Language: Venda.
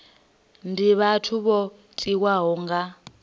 ndi vhathu vho tiwaho nga